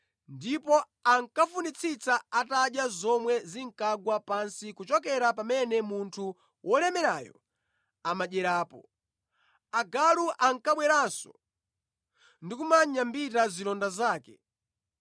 ndipo ankafunitsitsa atadya zomwe zinkagwa pansi kuchokera pamene munthu wolemerayo amadyerapo. Agalu ankabweranso ndi kumanyambita zilonda zake.